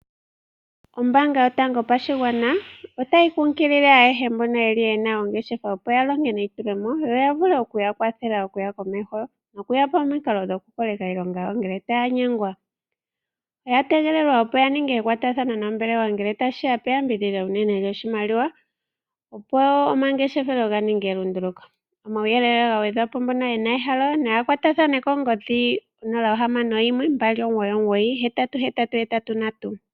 Ombaanga yotango yopashigwana otayi kumagidha ayehe mboka ye na oongeshefa, opo ya longe neitulemo yo ya vule okuya kwathela okuyakomeho nokuyapa omikalo dhokukoleka iilonga yawo ngele taya nyengwa. Oya tegelelwa opo ya kwatathane nombelewa ngele tashi ya peyambidhidho enene lyoshimaliwa, opo omangeshefelo ga ninge elunduluko. Kuuyelele wa gwedhwa po mbono ye na ehalo naya kwatathane kongodhi 061 2998883.